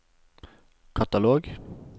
katalog